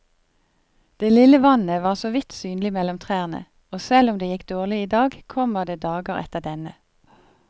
Det lille vannet var såvidt synlig mellom trærne, og selv om det gikk dårlig i dag, kommer det dager etter denne.